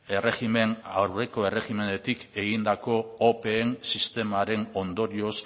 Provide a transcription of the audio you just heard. aurreko erregimenetik egindako opeen sistemaren ondorioz